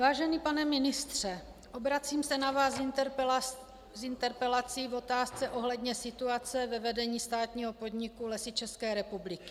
Vážený pane ministře, obracím se na vás s interpelací v otázce ohledně situace ve vedení státního podniku Lesy České republiky.